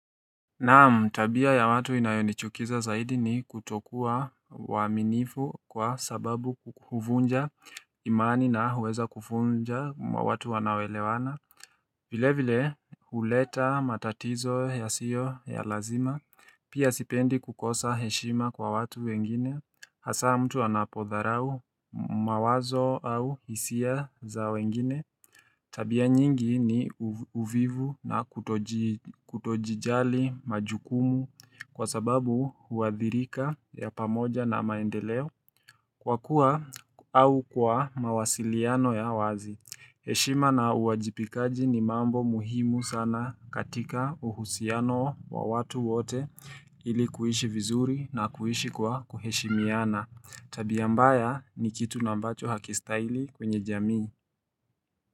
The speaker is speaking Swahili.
Naam tabia ya watu inayonichukiza zaidi ni kutokuwa waaminifu kwa sababu huvunja imani na huweza kufunja mwa watu wanaoelewana vile vile huleta matatizo yasiyo ya lazima Pia sipendi kukosa heshima kwa watu wengine Hasaa mtu anapodharau mawazo au hisia za wengine Tabia nyingi ni uvivu na kutoji kutojijali majukumu kwa sababu huadhirika ya pamoja na maendeleo. Kwa kuwa au kwa mawasiliano ya wazi, heshima na uwajibikaji ni mambo muhimu sana katika uhusiano wa watu wote ili kuishi vizuri na kuishi kwa kuheshimiana. Tabia mbaya ni kitu nambacho hakistahili kwenye jamii.